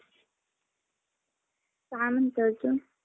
आरं ते पोर काय माहिती कुठं पळून गेलं.